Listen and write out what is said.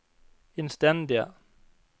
innstendige